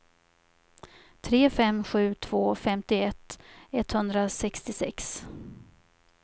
tre fem sju två femtioett etthundrasextiosex